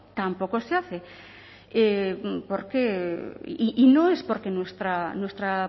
tampoco se hace por qué y no es porque nuestra